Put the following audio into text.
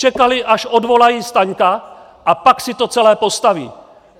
Čekali, až odvolají Staňka, a pak si to celé postaví.